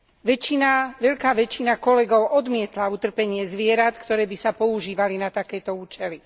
Väčšina, veľká väčšina kolegov odmietla utrpenie zvierat, ktoré by sa používali na takéto účely.